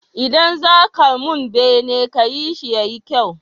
Idan zaka mun bene kayi shi yayi kyau